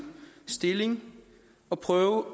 stilling og prøve